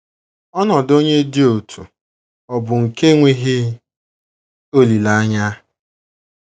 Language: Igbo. Ọnọdụ onye dị otú ọ̀ bụ nke enweghị olileanya?